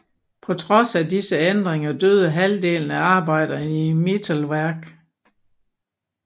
På trods af disse ændringer døde halvdelen af arbejderne i Mittelwerk